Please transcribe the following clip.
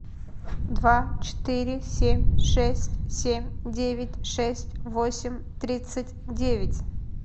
два четыре семь шесть семь девять шесть восемь тридцать девять